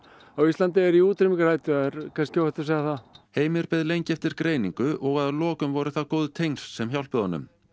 á Íslandi eru í útrýmingarhættu það er kannski óhætt að segja það Heimir beið lengi eftir greiningu og að lokum voru það góð tengsl sem hjálpuðu honum